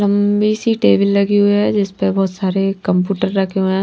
लंबी सी टेबल लगी हुई है जिस पर बहुत सारे कंप्यूटर रखे हुए हैं।